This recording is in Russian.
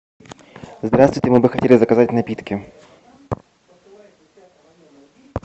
здравствуйте мы бы хотели заказать напитки